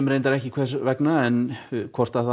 ekki hvers vegna hvort það